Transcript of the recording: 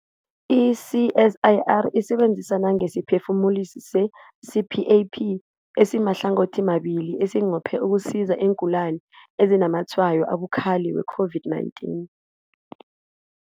I-CSIR isebenza nangesiphefumulisi se-CPAP esimahlangothimabili esinqophe ukusiza iingulani ezinazamatshwayo abukhali we-COVID-19.